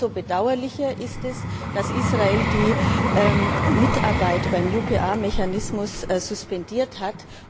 Umso bedauerlicher ist es, dass Israel die Mitarbeit beim UPR Mechanismus suspendiert hat.